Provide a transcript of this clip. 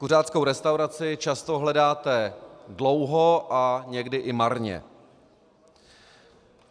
Kuřáckou restauraci často hledáte dlouho a někdy i marně.